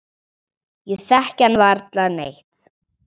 Ég þekki hann varla neitt.